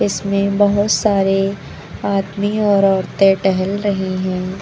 इसमें बहुत सारे आदमी और औरतें टहल रही हैं।